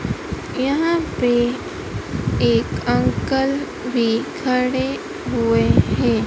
यहां पे एक अंकल भी खड़े हुएं हैं।